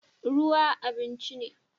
Ruwa abinci ne